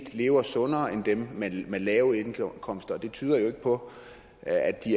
lever sundere end dem med de lave indkomster og det tyder jo ikke på at de